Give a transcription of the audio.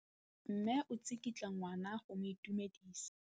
Mme o tsikitla ngwana go mo itumedisa.